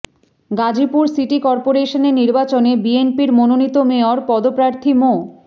Gazipur city করপোরেশনের নির্বাচনে বিএনপির মনোনীত মেয়র পদপ্রার্থী মো